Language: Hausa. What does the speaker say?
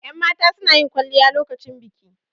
Yan mata sunayin kwalliya a lokacin biki